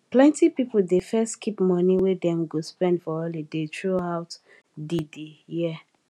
plenti pipo dey first keep money wey dem go spend for holiday throughout di di year